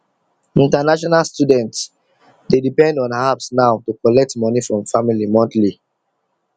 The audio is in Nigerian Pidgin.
international students dey depend on apps now to collect money from family monthly